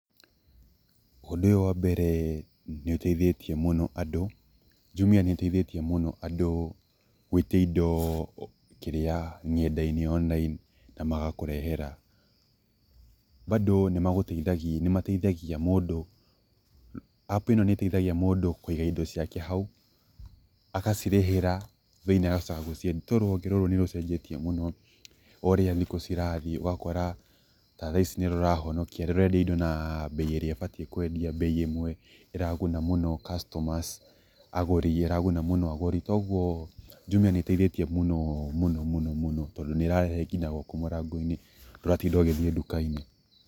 Ũndũ ũyũ wa mbere nĩ ũteithĩtie mũno andũ, jumia nĩ iteithĩtie mũno andũ gũĩtia indo kĩrĩa, ng'endainĩ na magakũrehera. Bado nĩ mateithagia mũndũ, app ĩno nĩ ĩteithagia mũndũ kũĩga indo ciake hau agacirĩhĩra then agacoka gũciendia nĩ tondũ rũhonge rũrũ nĩ rũcenjetie mũno ũ ũrĩa thikũ cirathiĩ ũgakora ta thaici nĩ rũrahonokia rũrendia indo na bei ĩrĩa ĩbatiĩ kwendia bei ĩmwe ĩraguna mũno customers agũri, ĩraguna mũno agũri, koguo jumia nĩ ĩteithĩtie mũno, mũno, mũno, mũno tondũ nĩrarehe nginya gwaku mũrangoinĩ nduratinda ũgĩthiĩ ndukainĩ.